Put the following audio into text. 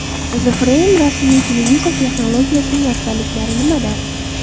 The Frame rasmli televizor texnologiyasining afzalliklari nimada?